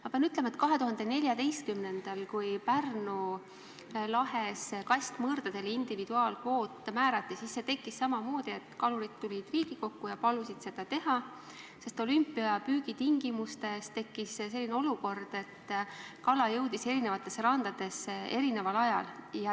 Ma pean ütlema, et 2014. aastal, kui Pärnu lahes kastmõrdadele individuaalkvoot määrati, siis samamoodi tulid kalurid Riigikokku ja palusid seda teha, sest olümpiapüügi tingimustes tekkis olukord, kus kala jõudis eri randadesse erineval ajal.